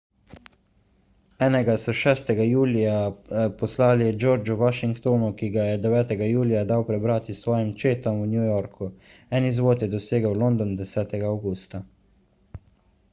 enega so 6 julija poslali georgu washingtonu ki ga je 9 julija dal prebrati svojim četam v new yorku en izvod je dosegel london 10 avgusta